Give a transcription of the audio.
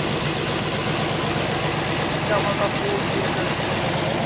জামা কাপড়